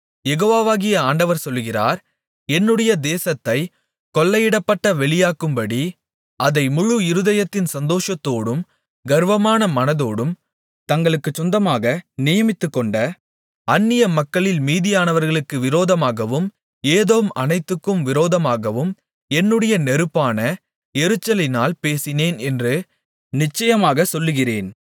யெகோவாகிய ஆண்டவர் சொல்லுகிறார் என்னுடைய தேசத்தைக் கொள்ளையிடப்பட்ட வெளியாக்கும்படி அதை முழு இருதயத்தின் சந்தோஷத்தோடும் கர்வமான மனதோடும் தங்களுக்குச் சொந்தமாக நியமித்துக்கொண்ட அந்நியமக்களில் மீதியானவர்களுக்கு விரோதமாகவும் ஏதோம் அனைத்துக்கும் விரோதமாகவும் என்னுடைய நெருப்பான எரிச்சலினால் பேசினேன் என்று நிச்சயமாகச் சொல்லுகிறேன்